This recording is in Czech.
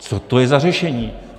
Co to je za řešení?